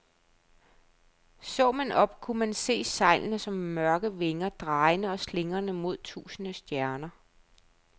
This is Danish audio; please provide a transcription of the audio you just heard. Så man op, kunne man se sejlene som mørke vinger, drejende og slingrende mod tusinde stjerner.